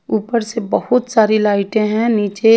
ऊपर से बहुत सारी लाइटे हे निचे--